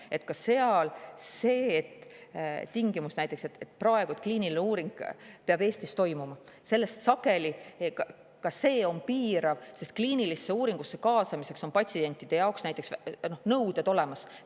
Sest on näiteks praegu tingimus, et kliiniline uuring peab toimuma Eestis: ka see on piirav, sest kliinilisse uuringusse kaasamiseks on patsientidele näiteks nõuded olemas.